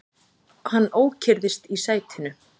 Hann ókyrrðist í sætinu.